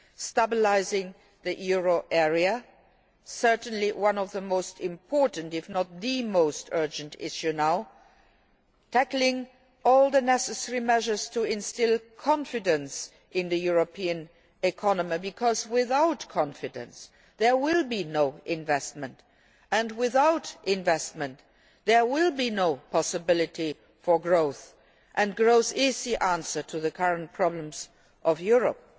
Stabilising the euro area, certainly one of the most important if not the most urgent issues now, tackling all the necessary measures to instil confidence in the European economy, because without confidence there will be no investment, and without investment there will be no possibility for growth and growth is the answer to the current problems of Europe.